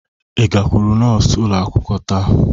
Ị gakwuru nọọsụ ụlọ akwụkwọ taa?